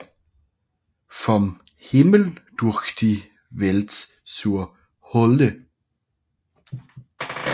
Vom Himmel durch die Welt zur Hölle